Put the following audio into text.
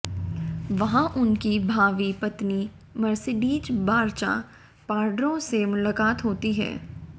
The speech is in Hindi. वहां उनकी भावी पत्नी मर्सिडीज बारचा पार्डो से मुलाकात होती है